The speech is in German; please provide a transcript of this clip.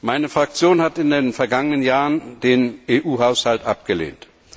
Meine Fraktion hat in den vergangenen Jahren den EU Haushalt abgelehnt.